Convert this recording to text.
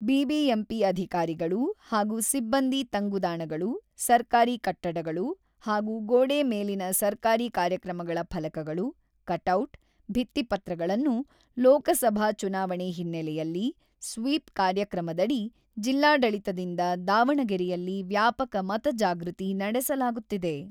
BBMP ಅಧಿಕಾರಿಗಳು ಹಾಗೂ ಸಿಬ್ಬಂದಿ ತಂಗುದಾಣಗಳು, ಸರ್ಕಾರಿ ಕಟ್ಟಡಗಳು ಹಾಗೂ ಗೋಡೆ ಮೇಲಿನ ಸರ್ಕಾರಿ ಕಾರ್ಯಕ್ರಮಗಳ ಫಲಕಗಳು, ಕಟೌಟ್, ಭಿತ್ತಿಪತ್ರಗಳನ್ನು ಲೋಕಸಭಾ ಚುನಾವಣೆ ಹಿನ್ನೆಲೆಯಲ್ಲಿ ಸ್ವೀಪ್ ಕಾರ್ಯಕ್ರಮದಡಿ ಜಿಲ್ಲಾಡಳಿತದಿಂದ ದಾವಣಗೆರೆಯಲ್ಲಿ ವ್ಯಾಪಕ ಮತಜಾಗೃತಿ ನಡೆಸಲಾಗುತ್ತಿದೆ.